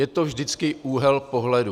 Je to vždycky úhel pohledu.